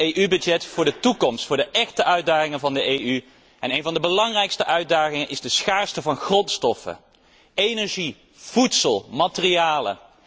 We hebben het EU budget voor de toekomst, voor de echte uitdagingen van de EU, en een van de belangrijkste uitdagingen is de schaarste van grondstoffen, energie, voedsel, materialen.